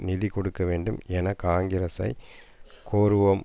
நிதி கொடுக்க வேண்டாம் என காங்கிரசைக் கோருவோம்